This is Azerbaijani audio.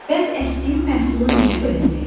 Bəs əkdiyim məhsulu necə böləcəyik?